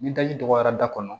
Ni daji dɔgɔyara da kɔnɔ